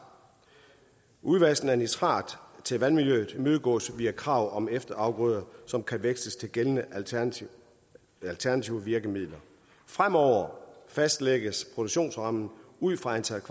udvaskningen af nitrat til vandmiljøet imødegås via krav om efterafgrøder som kan veksles til gældende alternative alternative virkemidler fremover fastlægges produktionsrammen ud fra antallet